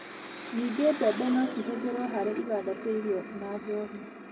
Ningĩ, mbembe no cihũthĩrwo harĩ iganda cia irio na njohi.